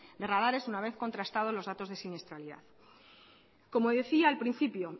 de radares una vez contratado los datos de siniestralidad como decía al principio